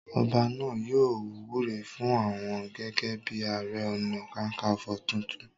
Ọba náà yóò wúre fún un gẹ́gẹ́ bíi ààrẹ ọ̀nà kakaǹfò tuntun.